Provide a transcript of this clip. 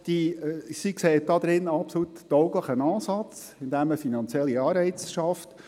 Er sieht darin einen absolut tauglichen Ansatz, indem man finanzielle Anreize schafft.